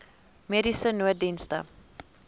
mediese nooddienste